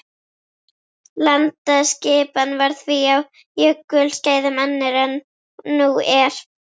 Landaskipan var því á jökulskeiðum önnur en nú er.